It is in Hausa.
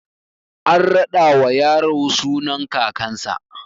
An raɗa wa yaro sunan kakan sa